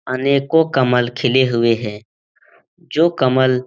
अनेको कमल खिले हुए है जो कमल --